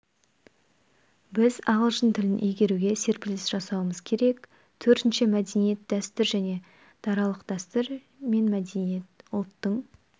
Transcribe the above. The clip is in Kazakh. біз ағылшын тілін игеруде серпіліс жасауымыз керек төртінші мәдениет дәстүр және даралық дәстүр мен мәдениет ұлттың